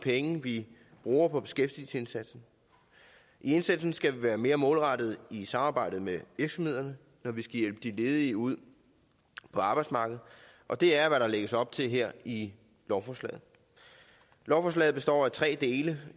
penge vi bruger på beskæftigelsesindsatsen i indsatsen skal vi være mere målrettede i samarbejdet med virksomhederne når vi skal hjælpe de ledige ud på arbejdsmarkedet og det er hvad der lægges op til her i lovforslaget lovforslaget består af tre dele